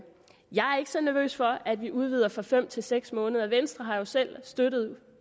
så nervøs for at vi udvider fra fem til seks måneder venstre har jo selv støttet